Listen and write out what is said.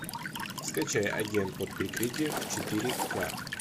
скачай агент под прикрытием четыре ка